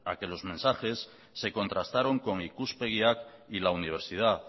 que los mensajes se contrastaron con ikuspegiak y la universidad